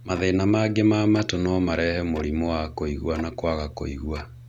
mathĩna mangĩ ma matũ no marehe mũrĩmũ wa kũigua na kwaga kũigua.